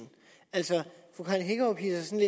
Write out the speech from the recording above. altså fru karen hækkerup hidser sig